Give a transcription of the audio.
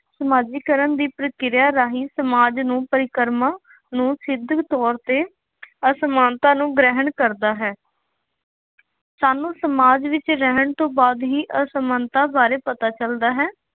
ਸਮਾਜੀਕਰਨ ਦੀ ਪ੍ਰਕਿਰਿਆ ਰਾਹੀ ਸਮਾਜ ਨੂੰ ਪਰਿਕਰਮਾ ਨੂੰ ਸਿੱਧਕ ਤੌਰ ਤੇ ਅਸਮਾਨਤਾ ਨੂੰ ਗ੍ਰਹਿਣ ਕਰਦਾ ਹੈ। ਸਾਨੂੰ ਸਮਾਜ ਵਿੱਚ ਰਹਿਣ ਤੋਂ ਬਾਅਦ ਹੀ ਅਸਮਾਨਤਾ ਬਾਰੇ ਪਤਾ ਚੱਲਦਾ ਹੈ।